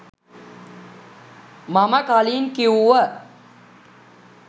මම කලින් කිව්ව.